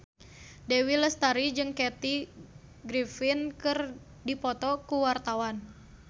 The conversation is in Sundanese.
Dewi Lestari jeung Kathy Griffin keur dipoto ku wartawan